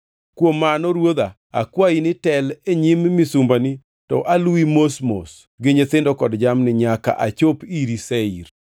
Kuom mano ruodha akwayi ni tel e nyim misumbani, to aluwi mos mos gi nyithindo kod jamni nyaka achop iri Seir.”